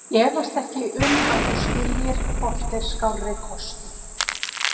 Ég efast ekki um að þú skiljir hvort er skárri kostur.